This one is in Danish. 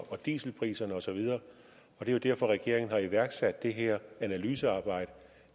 dieselpriserne og så videre det er jo derfor regeringen har iværksat det her analysearbejde